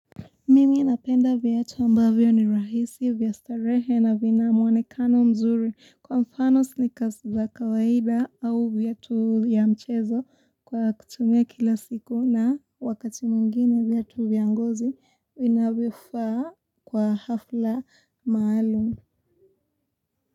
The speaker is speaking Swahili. Mimi napenda viatu ambavyo ni rahisi vya starehe na vina mwonekano mzuri kwa mfano snikers za kawaida au viatu ya mchezo kwa kutumia kila siku na wakati mwingine viatu vya ngozi inavifaa kwa hafla maalum.